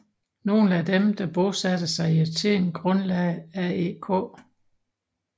Nogle af dem der bosatte sig i Athen grundlagde AEK